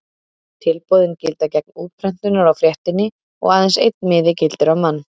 Tilboðin gilda gegn útprentunar á fréttinni og aðeins einn miði gildir á mann.